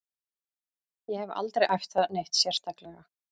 Ég hef aldrei æft það neitt sérstaklega.